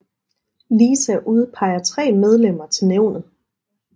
LISA udpeger tre medlemmer til nævnet